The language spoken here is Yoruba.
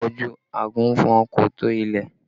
Ojú àgùnfọn kò tó ilẹ̀